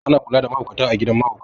A na kula da mahaukata a gidan mahaukata